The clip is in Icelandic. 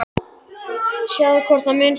En er draumur að komast í Sinfóníuna?